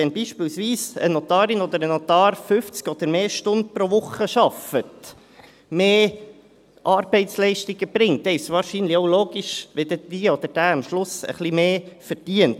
Wenn beispielsweise eine Notarin oder ein Notar 50 oder mehr Stunden pro Woche arbeitet, mehr Arbeitsleistung erbringt, ist es wahrscheinlich, dass diese oder jener dann am Schluss ein wenig mehr verdient.